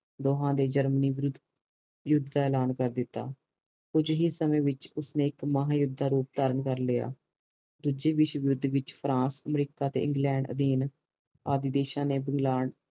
ਦੋਹਾ ਨੇ ਜਰਮਨੀ ਵਿਰੁੱਧ ਯੂੱਧ ਦਾ ਐਲਾਨ ਕਰ ਕਰ ਦਿਤਾ ਕੁਜ ਹੀ ਸਮੇ ਵਿਚ ਉਸਨੇ ਇਕ ਮਹਾ ਯੂੱਧ ਦਾ ਰੂਪ ਧਾਰਨ ਕਰ ਲਿਆ ਦੂਜੇ ਵਿਸ਼ਵ ਯੂੱਧ ਵਿਚ ਫਰਾਂਸ ਅਮਰੀਕਾ ਤੇ ਇੰਗਲੈਂਡ ਆਦਿ ਦੇਸ਼ ਨੇ